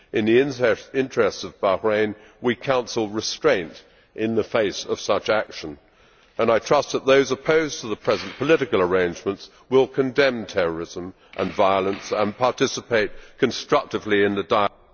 In the interests of Bahrain we counsel restraint in the face of such action and I trust that those opposed to the present political arrangements will condemn terrorism and violence and participate constructively in a dialogue.